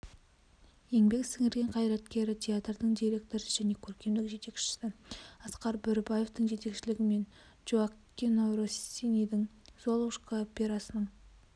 еңбек сіңірген қайраткері театрдың директоры және көркемдік жетекшісі асқар бөрібаевтың жетекшілігімен джоаккино россинидің золушка операсының